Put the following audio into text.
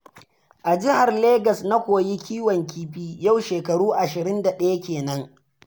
A Jihar Legas na koyi kiwon kifi, yau shekaru 21 kenan.